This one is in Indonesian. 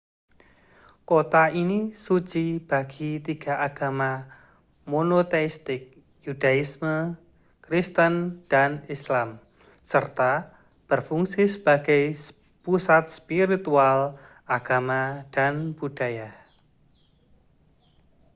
kota ini suci bagi tiga agama monoteistik yudaisme kristen dan islam serta berfungsi sebagai pusat spiritual agama dan budaya